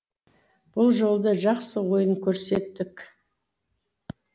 бұл жолы да жақсы ойын көрсеттік